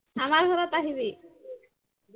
আমাৰ ঘৰত আহিবি